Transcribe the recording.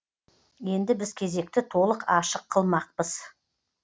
енді біз кезекті толық ашық қылмақпыз